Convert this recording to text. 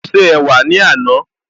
Mo ṣe ẹ̀wà ní àná